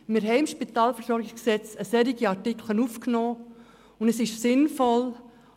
Wir haben entsprechende Artikel für mehr Transparenz ins Spitalversorgungsgesetz (SpVG) aufgenommen.